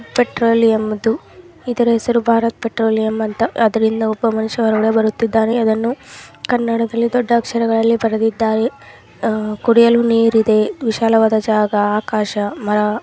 Petroleum ಅದು. ಇದರ ಹೆಸರು ಭಾರತ್ ಪೆಟ್ರೋಲಿಯಂ ಅಂತ. ಅದ್ರ ಹಿಂದೆ ಒಬ್ಬ ಮನಷ್ಯ ಹೊರಗಡೆ ಬರುತ್ತಿದ್ದಾನೆ. ಇದನ್ನು ಕನ್ನಡದಲ್ಲಿ ದೊಡ್ಡ ಅಕ್ಷರಗಳಲ್ಲಿ ಬರೆದಿದ್ದಾರೆ. ಅಹ್ ಕುಡಿಯಲು ನೀರ್ ಇದೆ. ವಿಶಾಲವಾದ ಜಾಗಾ ಆಕಾಶ ಮರ.